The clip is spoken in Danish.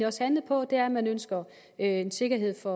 også handlet på er at man ønsker en sikkerhed for